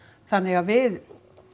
þannig að við